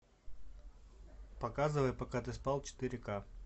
показывай пока ты спал четыре ка